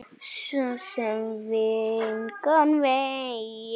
Svo sem engan veginn